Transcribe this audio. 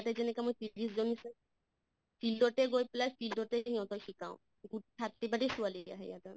তে যেনেকা মই field তে গৈ পেলাই field তে ইহঁতক শিকাওঁ ছোৱালী এতিয়া